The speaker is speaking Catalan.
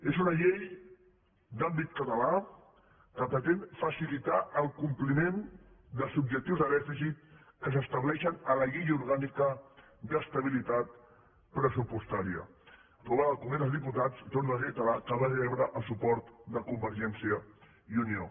és una llei d’àmbit català que pretén facilitar el compliment dels objectius de dèficit que s’estableixen a la llei orgànica d’estabilitat pressupostària aprovada al congrés dels diputats i torno a reiterar que va rebre el suport de convergència i unió